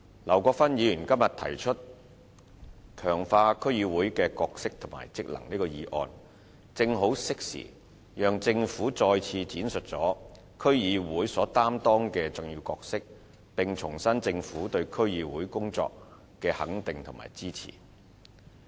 劉國勳議員今天提出"強化區議會的角色及職能"這項議案，正好適時讓政府再次闡述區議會所擔當的重要角色，並重申政府對區議會工作的肯定和支持。